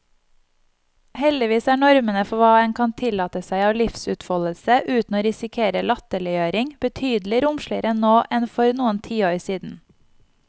Heldigvis er normene for hva en kan tillate seg av livsutfoldelse uten å risikere latterliggjøring, betydelig romsligere nå enn for noen tiår siden.